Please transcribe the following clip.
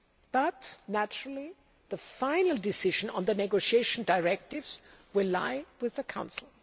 But naturally, the final decision on the negotiation directives will lie with the Council.